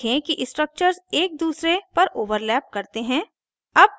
देखें कि structures एक दूसरे पर overlap करते हैं